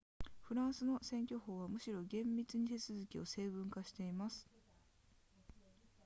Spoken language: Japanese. フランスの選挙法はむしろ厳密に手続きを成文化しています